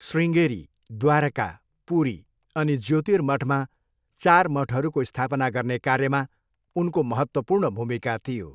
शृङ्गेरी, द्वारका, पुरी अनि ज्योतिर्मठमा चार मठहरूको स्थापना गर्ने कार्यमा उनको महत्त्वपूर्ण भूमिका थियो।